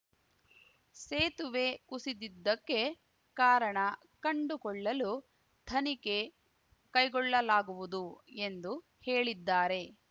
ಸೇತುವೆ ಕುಸಿದಿದ್ದಕ್ಕೆ ಕಾರಣ ಕಂಡುಕೊಳ್ಳಲು ತನಿಖೆ ಕೈಗೊಳ್ಳಲಾಗುವುದು ಎಂದು ಹೇಳಿದ್ದಾರೆ